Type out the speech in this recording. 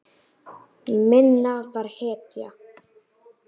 Minna var hetja.